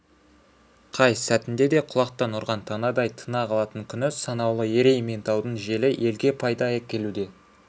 қай сәтінде де құлақтан ұрған танадай тына қалатын күні санаулы ерейментаудың желі елге пайда әкелуде